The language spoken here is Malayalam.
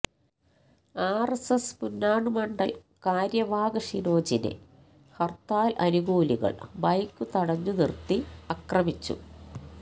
ആര് എസ് എസ് പുന്നാട് മണ്ഡല് കാര്യവാഹ് ഷിനോജിനെ ഹര്ത്താല് അനുകൂലികള് ബൈക്ക് തടഞ്ഞു നിര്ത്തി അക്രമിച്ചു